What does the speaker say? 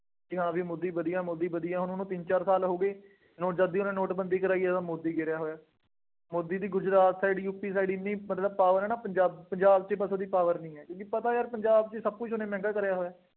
ਕਿ ਹਾਂ ਬਈ ਮੋਦੀ ਵਧੀਆ ਮੋਦੀ ਵਧੀਆ ਹੁਣ ਤਿੰਨ ਚਾਰ ਸਾਲ ਹੋ ਗਏ, ਹੁਣ ਜਦ ਦੀ ਉਹਨੇ ਨੋਟਬੰਦੀ ਕਰਾਈ ਹੈ, ਉਦੋਂ ਮੋਦੀ ਗਿਰਿਆ ਹੋਇਆ। ਮੋਦੀ ਦੀ ਗੁਜਰਾਤ side ਯੂਪੀ side ਐਨੀ ਮਤਲਬ power ਹੈ ਨਾ, ਪੰਜਾਬ ਪੰਜਾਬ ਚ ਬਸ ਉਹਦੀ power ਨਹੀਂ ਹੈ। ਉਹਨੂੰ ਪਤਾ ਪੰਜਾਬ ਵਿੱਚ ਸਭ ਕੁੱਛ ਉਹਨੇ ਮਹਿੰਗਾ ਕਰਿਆ ਹੋਇਆ।